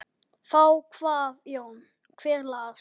Þá kvað Jón: Hver las?